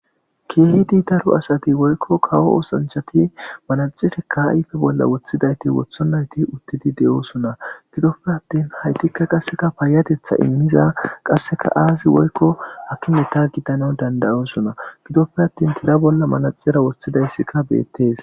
keehidi daro asati woykko kawo oosanchati manaxife kaayfe bolla woththidayti wothonnayti uttidi de7oosona gidoppe attin haytikka qasseka paayatetha immiza qasseka aazi woykko hakimeta giddana dandayosona gidoppe attin tira bolla manaxira woththidayssikka beettees